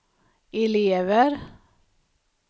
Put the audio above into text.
elever